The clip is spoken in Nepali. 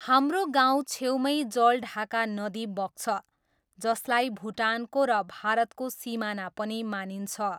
हाम्रो गाउँ छेउमै जलढाका नदी बग्छ जसलाई भुटानको र भारतको सिमाना पनि मानिन्छ।